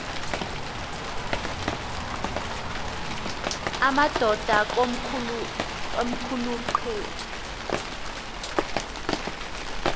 amadod akomkhul eqhub